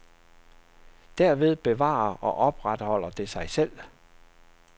Derved bevarer og opretholder det sig selv.